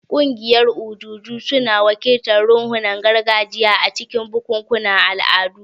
Ƙungiyoyin ojuju suna wakiltar ruhunan gargajiya a cikin bukukuwan al'adu.